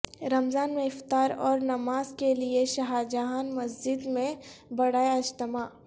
رمضان میں افطار او رنماز کیلئے شاہجہاں مسجد میں بڑے اجتماع